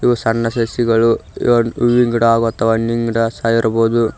ಸಣ್ಣ ಸಸಿಗಳು ಇವನ್ ಹೂವಿನ್ ಗಿಡ ಹಾಗು ಅಥವಾ ಹಣ್ಣಿನ್ ಗಿಡ ಸಹ ಇರ್ಬೋದು.